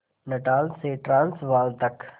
Natal से Transvaal तक